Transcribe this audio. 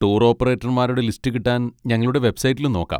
Tour ഓപ്പറേറ്റർമാരുടെ list കിട്ടാൻ ഞങ്ങളുടെ വെബ്സൈറ്റിലും നോക്കാം.